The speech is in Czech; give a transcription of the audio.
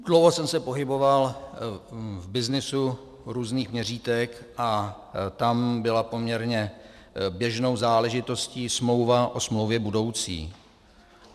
Dlouho jsem se pohyboval v byznysu různých měřítek a tam byla poměrně běžnou záležitostí smlouva o smlouvě budoucí.